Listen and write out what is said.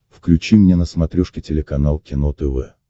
включи мне на смотрешке телеканал кино тв